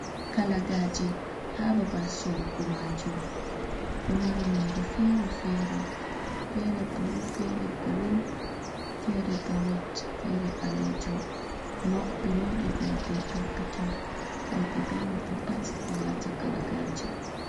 Kalagaje ha babal sorugo majum ɗo mari nonde fere fere, fere blu, fere green, fere bo ret, fere ɓalejum mauɗe bo be perpeton worɓe be roɓɓe pat ɗo wata kalagaje.